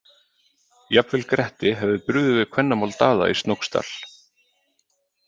Jafnvel Gretti hefði brugðið við kvennamál Daða í Snóksdal.